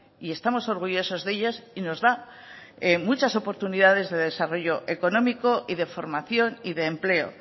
y estamos orgullosos de ellas y nos da muchas oportunidades de desarrollo económico y de formación y de empleo